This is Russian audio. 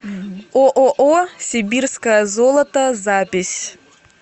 ооо сибирское золото запись